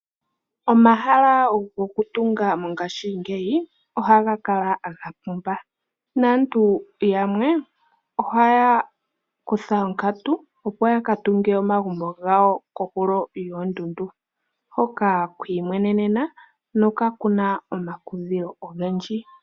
Omahala gokutunga mongashingeyi oha ga kala ga pumba, naantu yamwe oha ya kutha onkatu opo ya tunge omagumbo gawo kohulo yoondundu hoka kwiimwenenena nokaku na omakudhilo ogendji.